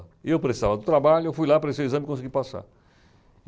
E eu precisava do trabalho, eu fui lá para esse exame e consegui passar.